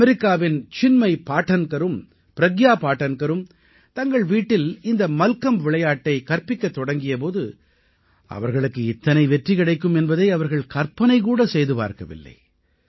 அமெரிக்காவின் சின்மய் பாடன்கரும் ப்ரக்யா பாடன்கரும் தங்கள் வீட்டில் இந்த மல்கம்ப் விளையாட்டைக் கற்பிக்கத் தொடங்கிய போது அவர்களுக்கு இத்தனை வெற்றி கிடைக்கும் என்பதை அவர்கள் கற்பனைகூட செய்து பார்க்கவில்லை